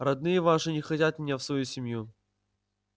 родные ваши не хотят меня в свою семью